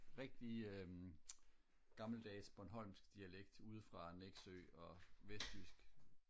rigtig øh gammeldags bornholmsk dialekt ude fra nexø og vestjysk